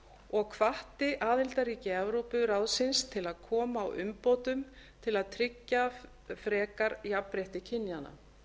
og hvatti aðildarríki evrópuráðsins til að koma á umbótum til að tryggja frekar jafnrétti kynjanna